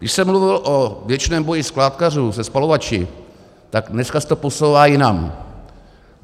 Když jsem mluvil o věčném boji skládkařů se spalovači, tak dneska se to posouvá jinam.